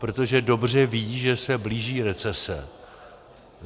Protože dobře ví, že se blíží recese.